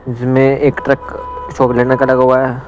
इसमें एक truck shackle का लगा हुआ है.